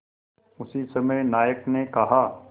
उसी समय नायक ने कहा